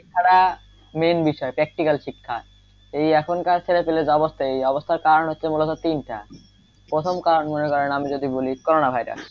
এছাড়া main বিষয় practical শিক্ষা এই এখনকার ছেলে পেলে যা অবস্থা এই অবস্থার কারণ হচ্ছে মুলত তিনটা প্রথম কারণ মনে করেন আমি যদি বলি কোরনা ভাইরাস,